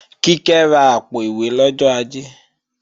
Kíkẹ́ ra àpò-ìwé lọ́jọ́ Ajé